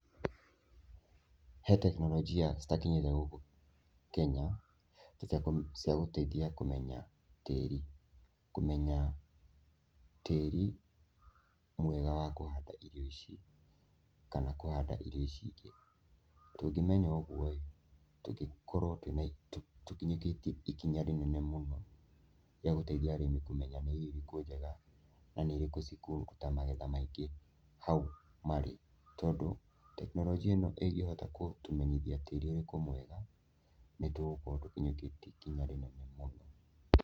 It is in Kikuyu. He tekinoronjĩ citakinyĩte gũkũ Kenya cia gũteithia kũmenya tĩri. Kũmenya tĩri mwega wa kũhanda irio ici kana kũhanda irio ici ingĩ. Tũngĩmenya ũgũo tũngĩkorwo tũkinyũkĩtie ikinya rĩnene mũno rĩa gũteithia arĩmi kũmenya nĩ irio irekũ njega na nĩ irĩkũ cikũruta magetha maingĩ hau marĩ. Tondũ tekinoronjĩ ĩno ĩngĩhota gũtũmenyithia nĩ tĩri ũrĩkũ mwega, nĩ tũgũkorwo tũkĩnyũkĩtie ikinya rĩnene mũno.